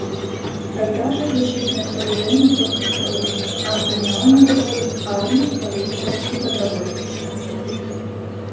тогда же защитные сооружения только строились а охраняла мегаполис армия полиция и добровольцы